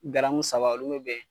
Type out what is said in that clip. saba hali n'o be yen